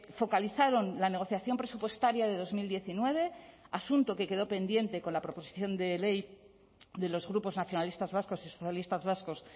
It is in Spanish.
focalizaron la negociación presupuestaria de dos mil diecinueve asunto que quedó pendiente con la proposición de ley de los grupos nacionalistas vascos y socialistas vascos